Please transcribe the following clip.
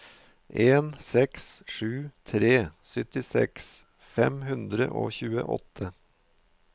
en seks sju tre syttiseks fem hundre og tjueåtte